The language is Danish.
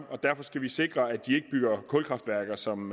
og derfor skal vi sikres os at de ikke bygger kulkraftværker som